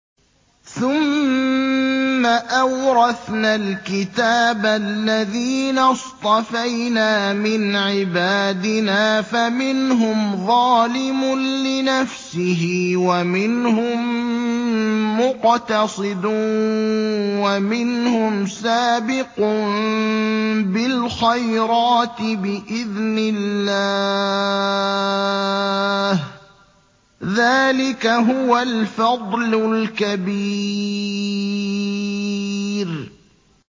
ثُمَّ أَوْرَثْنَا الْكِتَابَ الَّذِينَ اصْطَفَيْنَا مِنْ عِبَادِنَا ۖ فَمِنْهُمْ ظَالِمٌ لِّنَفْسِهِ وَمِنْهُم مُّقْتَصِدٌ وَمِنْهُمْ سَابِقٌ بِالْخَيْرَاتِ بِإِذْنِ اللَّهِ ۚ ذَٰلِكَ هُوَ الْفَضْلُ الْكَبِيرُ